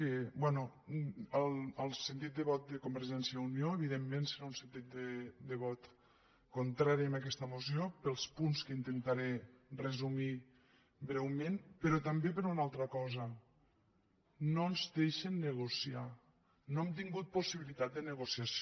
bé el sentit de vot de convergència i unió evidentment serà un sentit de vot contrari a aquesta moció pels punts que intentaré resumir breument però també per una altra cosa no ens deixen negociar no hem tingut possibilitat de negociació